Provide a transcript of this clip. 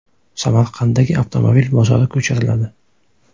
Samarqanddagi avtomobil bozori ko‘chiriladi.